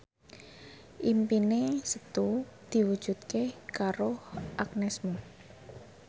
impine Setu diwujudke karo Agnes Mo